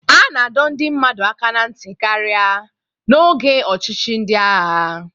A na-adọ ndị mmadụ aka ná ntị karịa n'oge ọchịchị ndị agha